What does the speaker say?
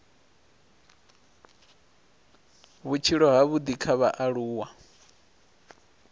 a vhutshilo havhudi kha vhaaluwa